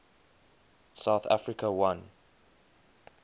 south africa won